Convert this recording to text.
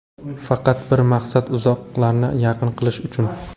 Faqat bir maqsad uzoqlarni yaqin qilish uchun.